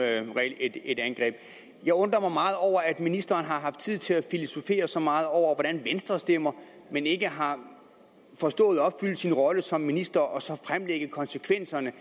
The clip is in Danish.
regel et angreb jeg undrer mig meget over at ministeren har haft tid til at filosofere så meget over hvordan venstre stemmer men ikke har forstået at udfylde sin rolle som minister og så fremlægge konsekvenserne